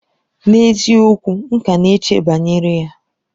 N'eziokwu! M ka na-eche banyere ya.